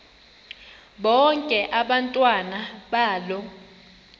bonke abantwana balo